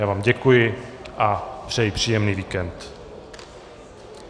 Já vám děkuji a přeji příjemný víkend.